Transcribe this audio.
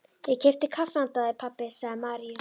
Ég keypti kaffi handa þér, pabbi, sagði María.